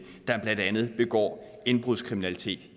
der blandt andet begår indbrudskriminalitet